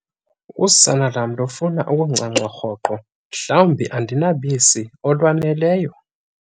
Umbuzo- Usana lwam lufuna ukuncanca rhoqo mhlawumbi andinabisi lwaneleyo?